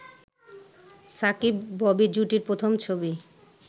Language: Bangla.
সাকিব-ববি জুটির প্রথম ছবি